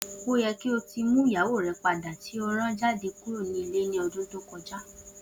O yẹ ki o ti mu iyawo rẹ pada ti o ran jade kuro ni ile ni ọdun to koja.